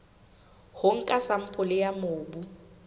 ho nka sampole ya mobu